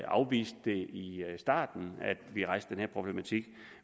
afviste det i starten da vi rejste den her problematik